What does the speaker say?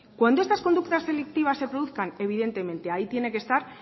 cuando esas conductas delictivas se produzcan evidentemente ahí tiene que estar